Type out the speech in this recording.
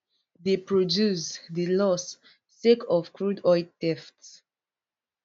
dey produce dey loss sake of crude oil theft